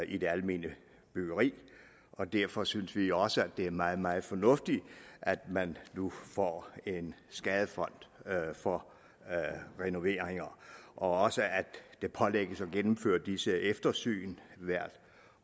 i det almene byggeri og derfor synes vi også at det er meget meget fornuftigt at man nu får en skadefond for renoveringer og også at det pålægges at gennemføre disse eftersyn hvert